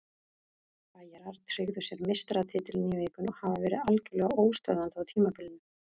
Bæjarar tryggðu sér meistaratitilinn í vikunni og hafa verið algjörlega óstöðvandi á tímabilinu.